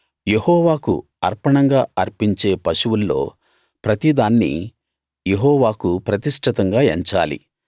యెహోవాకు అర్పణంగా అర్పించే పశువుల్లో ప్రతిదాన్నీ యెహోవాకు ప్రతిష్ఠితంగా ఎంచాలి